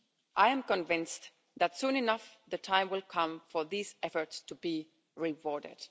I am convinced that soon enough the time will come for these efforts to be rewarded.